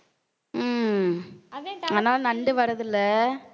உம் ஆனா நண்டு வர்றது இல்லை